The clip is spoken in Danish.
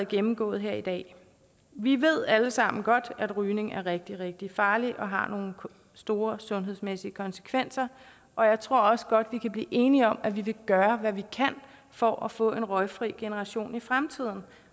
gennemgået her i dag vi ved alle sammen godt at rygning er rigtig rigtig farligt og har nogle store sundhedsmæssige konsekvenser og jeg tror også godt vi kan blive enige om at vi vil gøre hvad vi kan for at få en røgfri generation i fremtiden